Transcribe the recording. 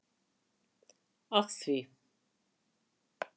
af því.